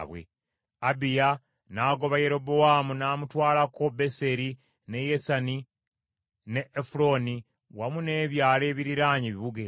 Abiya n’agoba Yerobowaamu, n’amutwalako Beseri, ne Yesana, ne Efulooni wamu n’ebyalo ebiriraanye ebibuga ebyo.